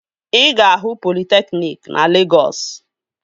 Ị ga-ahụ politekniki na Legọs